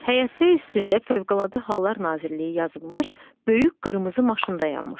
Həyətdə üstündə Fövqəladə Hallar Nazirliyi yazılmış böyük qırmızı maşın dayanmışdı.